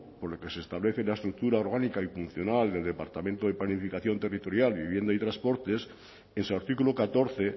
por el que se establece la estructura orgánica y funcional del departamento de planificación territorial vivienda y transportes en su artículo catorce